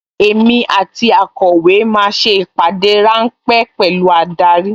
Èmi àti akọ̀wé máa ṣe ìpàdé ráńpẹ́ pẹ̀lú adarí